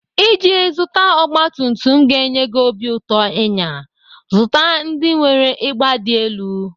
Iji zụta ọgbatumtum ga-enye gị obi ụtọ ịnya, zụta ndị nwere ịgba dị elu.